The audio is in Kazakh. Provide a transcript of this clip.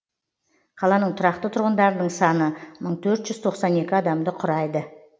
қаланың тұрақты тұрғындарының саны мың төрт жүз тоқсан екі адамды құрайды